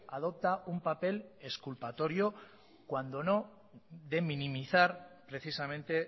adopta un papel exculpatorio cuando no de minimizar precisamente